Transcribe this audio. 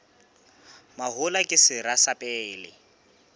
mahola ke sera sa pele